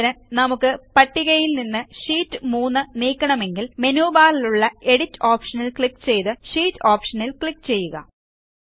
ഉദാഹരണത്തിന് നമുക്ക് പട്ടികയിൽ നിന്ന് ഷീറ്റ് 3 നീക്കണമെങ്കിൽ മെനു ബാറിലുള്ള എഡിറ്റ് ഓപ്ഷനിൽ ക്ലിക്ക് ചെയ്ത് ഷീറ്റ് ഓപ്ഷനിൽ ക്ലിക്ക് ചെയ്യുക